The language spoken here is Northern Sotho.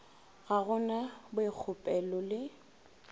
ga go na boikgopolelo le